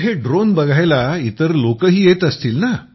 मग हे ड्रोन बघायला इतर लोकही येत असतील